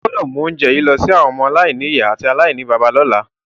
O gbọ́dọ̀ mu ounje yi lọ si àwọn ọmọ-aláìnìyá àti aláìníbàbá lọ́la.